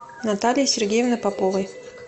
натальи сергеевны поповой